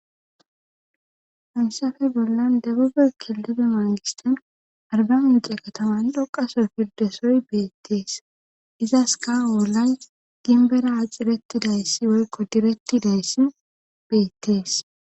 Famssafe bollan debube killide maagistan arba mince kataman dhoqasoy pirdesoy beettees izas ka oolay ginbera acirettidayssi woykko direttidayssi beettees